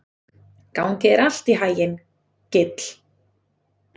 Gangi þér allt í haginn, Gill.